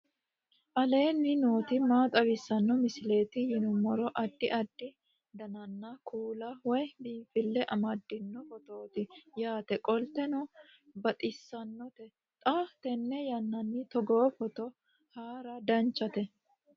aleenni nooti maa xawisanno misileeti yinummoro addi addi dananna kuula woy biinfille amaddino footooti yaate qoltenno baxissannote xa tenne yannanni togoo footo haara danchate